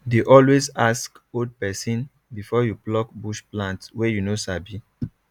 dey always ask old person before you pluck bush plant wey you no sabi